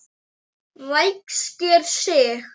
Ræskir sig.